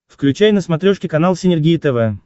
включай на смотрешке канал синергия тв